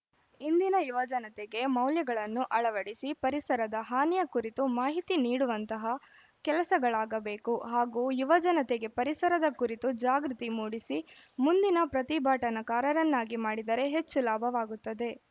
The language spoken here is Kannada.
ಇಂದಿನ ಯುವಜನತೆಗೆ ಮೌಲ್ಯಗಳನ್ನು ಅಳವಡಿಸಿ ಪರಿಸರದ ಹಾನಿಯ ಕುರಿತು ಮಾಹಿತಿ ನೀಡುವಂತಹ ಕೆಲಸಗಳಾಗಬೇಕು ಹಾಗೂ ಯುವಜನತೆಗೆ ಪರಿಸರದ ಕುರಿತು ಜಾಗೃತಿ ಮೂಡಿಸಿ ಮುಂದಿನ ಪ್ರತಿಭಟನಾಕಾರರನ್ನಾಗಿ ಮಾಡಿದರೆ ಹೆಚ್ಚು ಲಾಭವಾಗುತ್ತದೆ